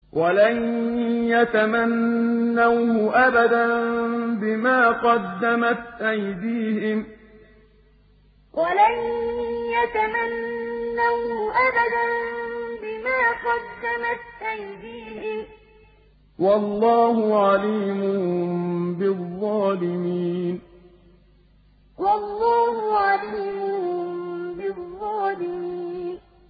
وَلَن يَتَمَنَّوْهُ أَبَدًا بِمَا قَدَّمَتْ أَيْدِيهِمْ ۗ وَاللَّهُ عَلِيمٌ بِالظَّالِمِينَ وَلَن يَتَمَنَّوْهُ أَبَدًا بِمَا قَدَّمَتْ أَيْدِيهِمْ ۗ وَاللَّهُ عَلِيمٌ بِالظَّالِمِينَ